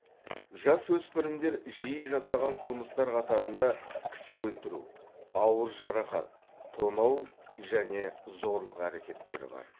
жасөспірімдер жиі жасаған қылмыстар қатарында кісі өлтіру ауыр жарақат тонау және зорлық әрекеттері бар